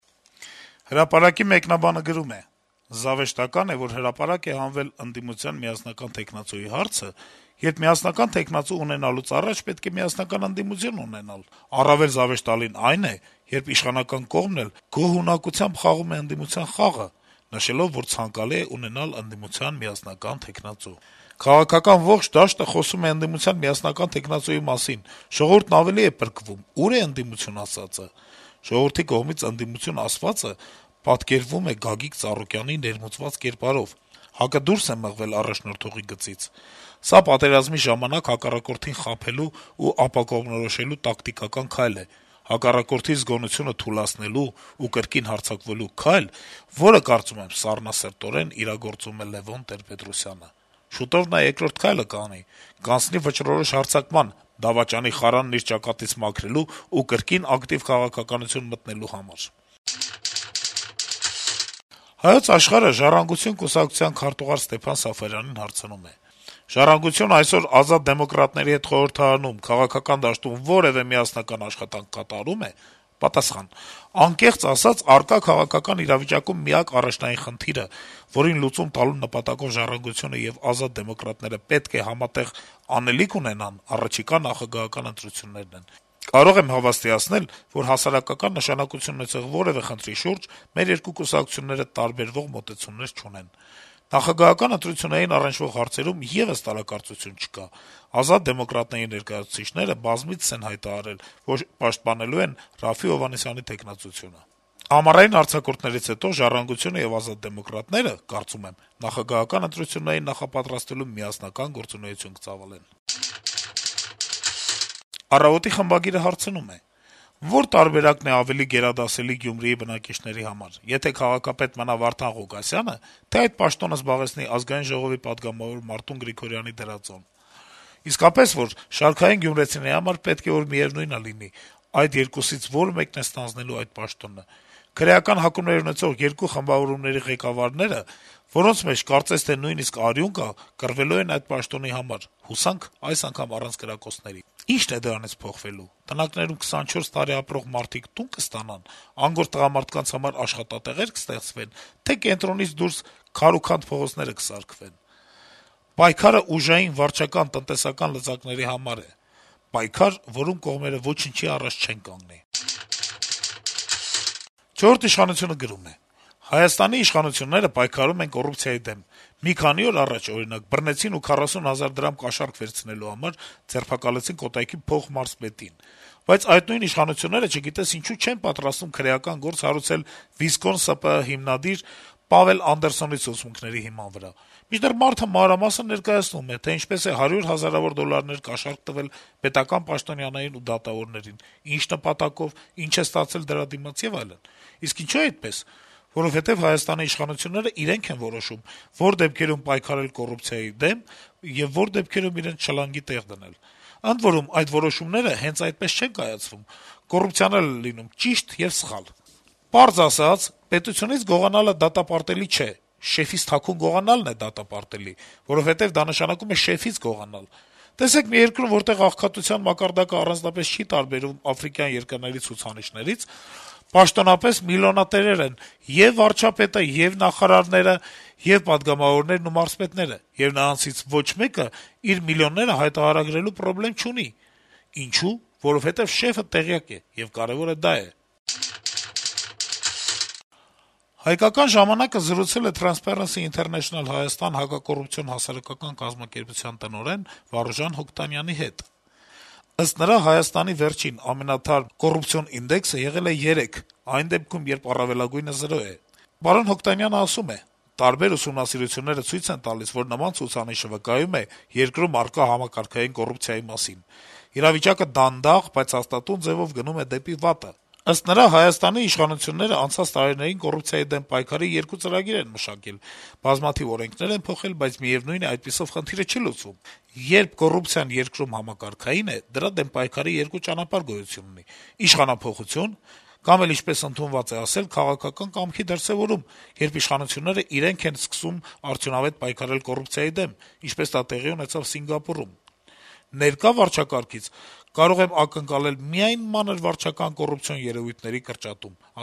«Հրապարակ»-ի մեկնաբանը գրում է. - «Զավեշտական է, որ հրապարակ է հանվել ընդդիմության միասնական թեկնածուի հարցը, երբ միասնական թեկնածու ունենալուց առաջ պետք է միասնական ընդդիմություն ունենալ: Առավել զավեշտալին այն է, երբ իշխանական կողմն էլ է գոհունակությամբ խաղում ընդդիմության խաղը՝ նշելով, որ ցանկալի է ունենալ ընդդիմության միասնական թեկնածու: Քաղաքական ողջ դաշտը խոսում է ընդդիմության միասնական թեկնածուի մասին, ժողովուրդն ավելի է պրկվում՝ ո՞ւր է ընդդիմություն ասվածը…Ժողովրդի կողմից ընդդիմություն ասվածը պատկերվում է Գագիկ Ծառուկյանի ներմուծված կերպարով, ՀԱԿ-ը դուրս է մղվել առաջնորդողի գծից: Սա պատերազմի ժամանակ հակառակորդին խաբելու ու ապակողմնորոշելու տակտիկական քայլ է: Հակառակորդի զգոնությունը թուլացնելու ու կրկին հարձակվելու քայլ, որը, կարծում եմ, սառնասրտորեն իրագործում է Լեւոն Տեր-Պետրոսյանը: Շուտով նա երկրորդ քայլը կանի: Կանցնի վճռորոշ հարձակման՝ դավաճանի խարանն իր ճակատից մաքրելու ու կրկին ակտիվ քաղաքականություն մտնելու համար»: «Հայոց Աշխարհ»-ը «Ժառանգություն» կուսակցության քարտուղար Ստեփան Սաֆարյանին հարցնում է. - ««Ժառանգություն»-ը այսօր «Ազատ դեմոկրատներ»-ի հետ խորհրդարանում, քաղաքական դաշտում որեւէ միասնական աշխատանք կատարո՞ւմ է»: Պատասխան. - «Անկեղծ ասած, առկա քաղաքական իրավիճակում միակ առաջնային խնդիրը, որին լուծում տալու նպատակով «Ժառանգություն»-ը եւ «Ազատ դեմոկրատներ»-ը պետք է համատեղ անելիք ունենան, առաջիկա նախագահական ընտրություններն են: Կարող եմ հավաստիացնել, որ հասարակական նշանակություն ունեցող որեւէ խնդրի շուրջ մեր երկու կուսակցությունները տարբերվող մոտեցումներ չունեն: Նախագահական ընտրություններին առնչվող հարցերում եւս որեւէ տարակարծություն չկա: «Ազատ դեմոկրատներ»-ի ներկայացուցիչները բազմիցս են հայտարարել, որ պաշտպանելու են Րաֆֆի Հովհաննիսյանի թեկնածությունը: Ամառային արձակուրդներից հետո «Ժառանգություն»-ը եւ «Ազատ դեմոկրատներ»-ը, կարծում եմ, նախագահական ընտրություններին նախապատրաստվելու միասնական գործունեություն կծավալեն»: «Առավոտ»-ի խմբագիրը հարցնում է. - «Ո՞ր տարբերակն է ավելի գերադասելի Գյումրիի բնակիչների համար՝ եթե քաղաքապետ մնա Վարդան Ղուկասյա՞նը, թե՞ այդ պաշտոնը զբաղեցնի ԱԺ պատգամավոր Մարտուն Գրիգորյանի դրածոն։ Շարքային գյումրեցիների համար պետք է որ բացարձակապես միեւնույն լինի՝ այդ երկուսից որ մեկն է ստանձնելու այդ պաշտոնը: Քրեական հակումներ ունեցող երկու խմբավորումների ղեկավարները, որոնց մեջ, կարծես թե, նաեւ «արյուն» կա, կռվելու են այդ պաշտոնի համար՝ հուսանք, այս անգամ առանց կրակոցների: Ի՞նչն է դրանից փոխվելու՝ տնակներում 24 տարի ապրող մարդիկ տո՞ւն կստանան, անգործ տղամարդկանց համար աշխատատեղե՞ր կստեղծվեն, թե՞ կենտրոնից դուրս քարուքանդ փողոցները կսարքվեն: Պայքարը ուժային, վարչական, տնտեսական լծակների համար է: Պայքար, որում կողմերը ոչնչի առաջ չեն կանգնի»։ «Չորրորդ ինքնիշխանություն»-ը գրում է. - «Հայաստանի իշխանությունները պայքարում են կոռուպցիայի դեմ: Մի քանի օր առաջ, օրինակ, բռնեցին ու 40 հազար դրամ կաշառք վերցնելու համար ձերբակալեցին Կոտայքի փոխմարզպետին: Բայց այդ նույն իշխանությունները, չգիտես ինչու, չեն պատրաստվում քրեական գործ հարուցել «Վիզկոն» ՍՊԸ հիմնադիր Պավել Անդերսոնի ցուցմունքների հիման վրա: Մինչդեռ մարդը մանրամասն ներկայացնում է, թե ինչպես է հարյուր հազարավոր դոլարներ կաշառք տվել պետական պաշտոնյաներին ու դատավորներին, ինչ նպատակով, ինչ է ստացել դրա դիմաց եւ այլն: Իսկ ինչո՞ւ է այդպես: Որովհետեւ Հայաստանի իշխանությունները իրենք են որոշում` որ դեպքերում պայքարել կոռուպցիայի դեմ, եւ որ դեպքերում իրենց «շլանգի տեղ դնել»: Ընդ որում` այդ որոշումները հենց այնպես չեն կայացվում. կոռուպցիան էլ է լինում «ճիշտ» եւ «սխալ»: Պարզ ասած` պետությունից գողանալը դատապարտելի չէ, «շեֆից» թաքուն գողանալն է դատապարտելի, որովհետեւ դա նշանակում է «շեֆից» գողանալ: Տեսեք` մի երկրում, որտեղ աղքատության մակարդակը առանձնապես չի տարբերվում աֆրիկյան երկրների ցուցանիշներից, պաշտոնապես միլիոնատերեր են ե'ւ վարչապետն ու նախարարները, ե'ւ պատգամավորներն ու մարզպետները: Եվ նրանցից ոչ մեկը իր միլիոնները հայտարարագրելու պրոբլեմ չունի: Ինչո՞ւ: Որովհետեւ «շեֆը» տեղյակ է, եւ կարեւորը դա է»: «Հայկական ժամանակ»-ը զրուցել է «Թրանսփարենսի ինթերնեյշնլ-Հայաստան» հակակոռուպցիոն հասարակական կազմակերպության տնօրեն Վարուժան Հոկտանյանի հետ: Նրա խոսքով` տասը բալանոց սանդղակով, որտեղ զրոն բացարձակ կոռումպացված երկրներն են, իսկ 10-ը` կոռուպցիա չունեցողները, Հայաստանի վերջին` ամենաթարմ ցուցանիշը եղել է երեք: «Տարբեր ուսումնասիրությունները ցույց են տալիս, որ նման ցուցանիշը վկայում է երկրում առկա համակարգային կոռուպցիայի մասին: Իրավիճակը դանդաղ, բայց հաստատուն ձեւով գնում է դեպի վատը», - ասել է Հոկտանյանը: Նրա փոխանցմամբ` ՀՀ իշխանություններն անցած տարիներին կոռուպցիայի դեմ պայքարի երկու ծրագիր են մշակել, բազմաթիվ օրենքներ են փոխել, բայց միեւնույն է` այդպիսով խնդիրը չի լուծվում: «Երբ կոռուպցիան երկրում համակարգային է, դրա դեմ պայքարի երկու ճանապարհ գոյություն ունի` իշխանափոխություն կամ էլ, ինչպես ընդունված է ասել, քաղաքական կամքի դրսեւորում, երբ իշխանություններն իրենք են որոշում, որ իրավիճակը օրհասական է, եւ սկսում են արդյունավետ պայքարել կոռուպցիայի դեմ, ինչպես դա տեղի ունեցավ Սինգապուրում: Ներկա վարչակազմից կարող եմ ակնկալել միայն մանր վարչական կոռուպցիոն երեւույթների կրճատում», -